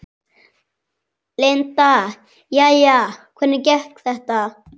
Linda: Jæja, hvernig gekk þetta?